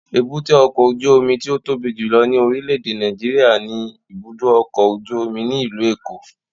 Èbúté ọkọ ojú omi ti o tobi julọ ni orilẹ-ede Nàìjíríà ni ibudo ọkọ oju omi ni ilu Eko